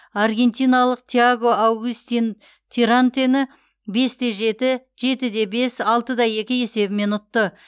аргентиналық тиаго аугистин тирантені бес те жеті жеті де бес алты да екі есебімен ұтты